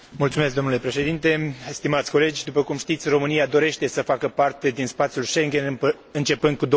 Domnule Președinte, stimați colegi, după cum știți, România dorește să facă parte din spațiul Schengen începând cu